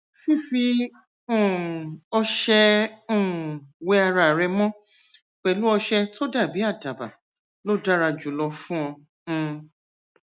fífi um ọṣẹ um wẹ ara rẹ mọ pẹlú ọṣẹ tó dàbí àdàbà ló dára jùlọ fún ọ um